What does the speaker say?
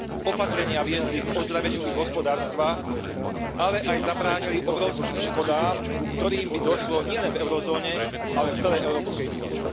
Opatrenia viedli k ozdraveniu ich hospodárstva, ale aj zabránili obrovským škodám, ku ktorým by došlo nielen v eurozóne, ale v celej Európskej únii.